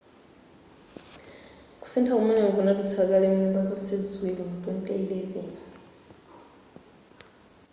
kusintha kumeneku kunadutsa kale mnyumba zonse ziwiri mu 2011